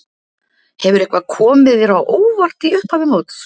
Hefur eitthvað komið þér á óvart í upphafi móts?